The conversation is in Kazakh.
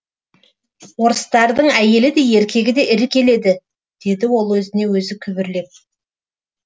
орыстардың әйелі де еркегі де ірі келеді деді ол өзіне өзі күбірлеп